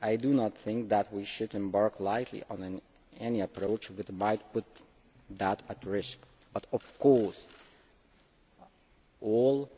I do not think that we should embark lightly on any approach which might put that at risk, but of course all